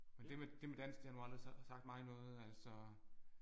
Men det med det med dans det har nu aldrig sagt mig noget altså